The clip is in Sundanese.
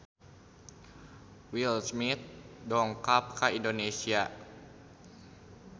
Will Smith dongkap ka Indonesia